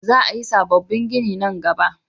Za a yi sabobbin gini nan gaba